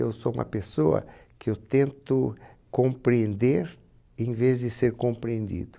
Eu sou uma pessoa que eu tento compreender em vez de ser compreendido.